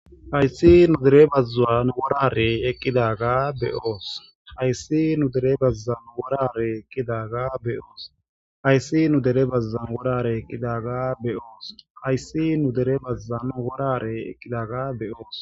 hayssi nu dere bazzwun wora harey eqqidaga be'oos .hayssi nu dere bazuwan wora hareyi ekidaga be'oos .hayssi nu dere bazzuwan wora hareyi ekidaga be'oos .hayssi nu dere bazzuwan wora hareyi eqqidaga be'oos.